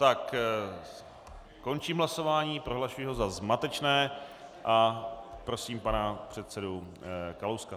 Tak končím hlasování, prohlašuji ho za zmatečné a prosím pana předsedu Kalouska.